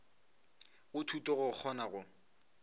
go thuto go kgona go